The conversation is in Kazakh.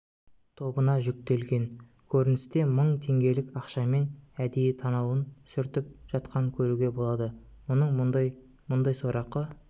тобына жүктелген көріністе мың теңгелік ақшамен әдейі танауын сүртіп жатқанын көруге болады оның мұндай мұндай сорақы